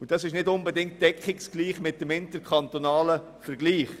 Das deckt sich nicht unbedingt mit dem interkantonalen Vergleich.